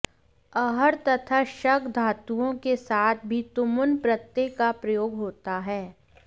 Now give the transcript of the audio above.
अर्ह तथा शक् धातुओं के साथ भी तुमुन् प्रत्यय का प्रयोग होता है